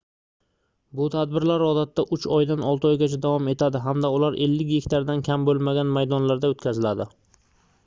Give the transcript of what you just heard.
bu tadbirlar odatda uch oydan olti oygacha davom etadi hamda ular 50 gektardan kam boʻlmagan maydonlarda oʻtkaziladi